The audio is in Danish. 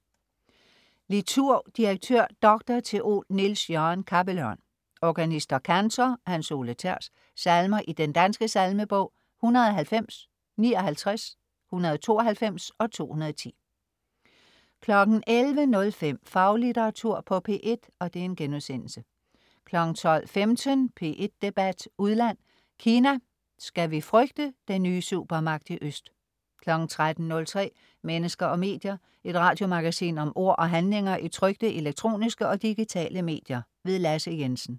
Liturg: direktør, dr. theol Niels Jørgen Cappelørn. Organist og kantor: Hans Ole Thers. Salmer i Den Danske Salmebog: 190. 59. 192. 210 11.05 Faglitteratur på P1* 12.15 P1 Debat udland: Kina, skal vi frygte den nye supermagt i øst? 13.03 Mennesker og medier. Et radiomagasin om ord og handlinger i trykte, elektroniske og digitale medier. Lasse Jensen